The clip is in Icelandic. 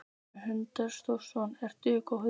Hrund Þórsdóttir: Ertu góður?